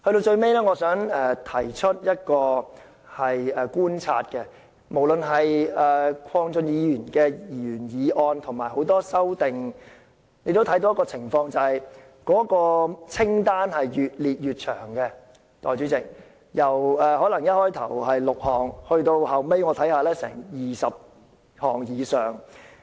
最後，我想提出一個觀察，鄺俊宇議員的原議案和很多修正案所建議的措施越列越長，代理主席，由原議案的6項措施增加到20項以上。